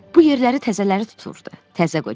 Bu yerləri təzələri tuturdu, təzə qocalar.